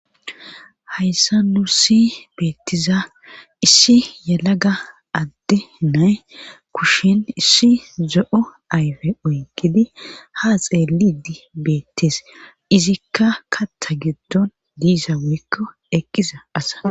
Hayssa nursi beettiza issi yalaga adde nay kushin issi zo7o ayfe oykidi ha xeelidi beettees izikka katta giddon diisa mikko ekkiza asa..